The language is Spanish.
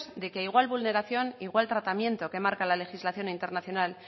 de que igual vulneración igual tratamiento que marca la legislación internacional